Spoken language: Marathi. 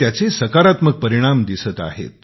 त्याचे सकारात्मक परिणाम दिसत आहेत